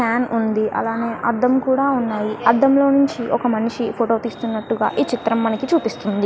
Fan ఉంది అలానే అద్ధం కూడా ఉన్నాయి అద్ధం లో నుంచి ఒక మనిషి ఫోటో తీస్తున్నట్టుగా ఈ చిత్రం మనకి చూపిస్తుంది.